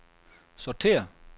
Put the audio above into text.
sortér